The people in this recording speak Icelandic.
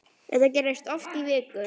Þetta gerðist oft í viku.